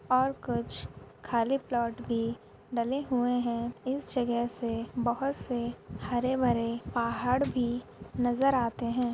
और कुछ खाली प्लाट भी डले हुए हैं इस जगह से बहुत से हरे भरे पहाड़ भी नजर आते है।